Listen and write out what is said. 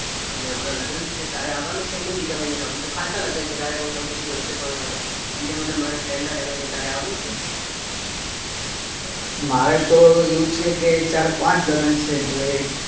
અને હમણાં લગન છે તારે આવાનું છે કે નઇ બીજા મહિનામાં. આમ તો ખાસા લગન છે તારે કંકોત્રી હસે પણ બીજા મહિનામાં મારા ફ્રેન્ડ ના લગન છે તારે આવવું છે, મારે તો આવું છે કે ચાર પાંચ લગન છે હવે.